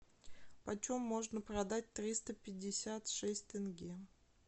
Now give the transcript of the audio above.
почем можно продать триста пятьдесят шесть тенге